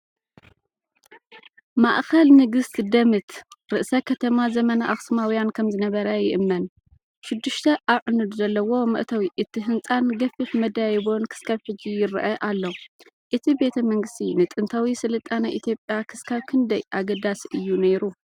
ማእኸል ንግስነት ደምት፣ ርእሰ ከተማ ዘመነ ኣኽሱማውያን ከምዝነበረ ይእመን። ሽዱሽተ ኣዕኑድ ዘለዎ መእተዊ እቲ ህንጻን ገፊሕ መደያይቦን ክሳብ ሕጂ ይርአ ኣሎ። እቲ ቤተ መንግስቲ ንጥንታዊ ስልጣነ ኢትዮጵያ ክሳብ ክንደይ ኣገዳሲ እዩ ነይሩ?